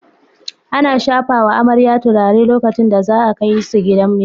Ana shafawa amare turare lokacin da za a kai su gidan miji.